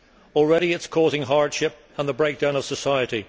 Already it is causing hardship and the breakdown of society.